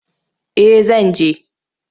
Eh zan je.